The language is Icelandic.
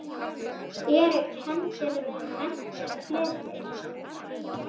Eru kenndir við menntir fleiri.